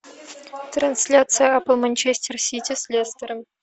трансляция апл манчестер сити с лестером